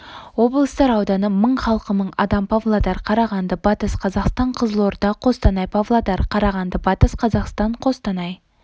облыстар ауданы мың халқы мың адам павлодар қарағанды батыс қазақстан қызылорда қостанай павлодар қарағанды батыс қазақстан қостанай